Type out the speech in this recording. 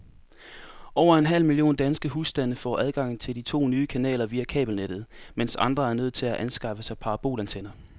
Over en halv million danske husstande får adgang til de to nye kanaler via kabelnettet, mens andre er nødt til at anskaffe sig parabolantenner.